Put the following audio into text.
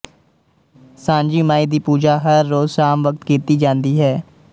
ਸਾਂਝੀ ਮਾਈ ਦੀ ਪੂਜਾ ਹਰ ਰੋਜ਼ ਸ਼ਾਮ ਵਕਤ ਕੀਤੀ ਜਾਂਦੀ ਹੈ